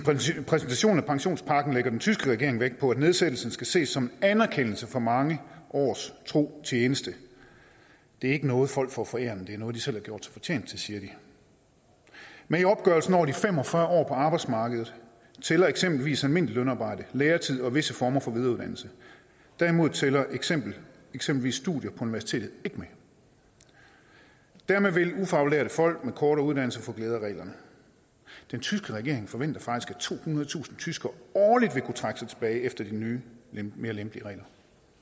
præsentation af pensionspakken lægger den tyske regering vægt på at nedsættelsen skal ses som en anerkendelse for mange års tro tjeneste det er ikke noget folk får forærende det er noget de selv har gjort sig fortjent til siger de med i opgørelsen over de fem og fyrre år på arbejdsmarkedet tæller eksempelvis almindeligt lønarbejde læretid og visse former for videreuddannelse derimod tæller eksempelvis eksempelvis studier på universitetet ikke med dermed vil ufaglærte folk med kortere uddannelser få glæde af reglerne den tyske regering forventer faktisk at tohundredetusind tyskere årligt vil kunne trække sig tilbage efter de nye mere lempelige regler